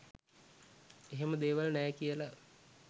එහෙම දේවල් නෑ කියල.